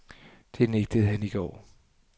Det nægtede han i går.